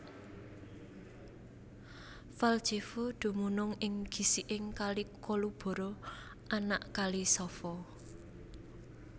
Valjevo dumunung ing gisiking Kali Kolubara anak Kali Sava